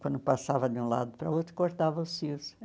Quando passava de um lado para o outro, cortava os fios.